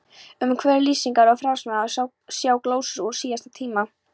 Umhverfi, lýsingar og frásagnarmáti, sjá glósur úr síðasta tíma